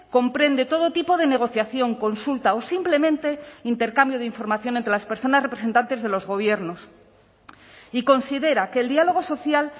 comprende todo tipo de negociación consulta o simplemente intercambio de información entre las personas representantes de los gobiernos y considera que el diálogo social